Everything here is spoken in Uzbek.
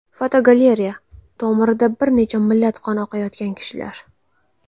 Fotogalereya: Tomirida bir nechta millat qoni oqayotgan kishilar.